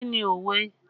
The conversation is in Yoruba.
Kí ni òwe?